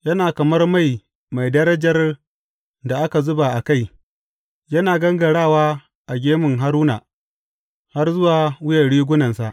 Yana kamar mai mai darajar da aka zuba a kai, yana gangarawa a gemu, yana gangarawa a gemun Haruna, har zuwa wuyan rigunansa.